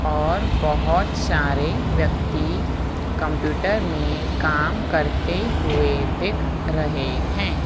और बहोत सारे व्यक्ति कम्प्यूटर में काम करते हुए दिख रहे है।